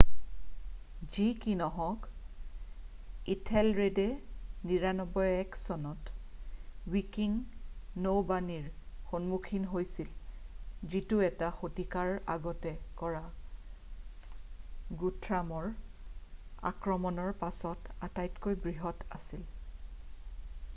যি কি নহওক ইথেলৰেডে 991 চনত ৱিকিং নৌবানীৰ সন্মুখীন হৈছিল যিটো এটা শতিকাৰ আগতে কৰা গুথ্ৰামৰ আক্ৰমণৰ পাছত আটাইতকৈ বৃহৎ আছিল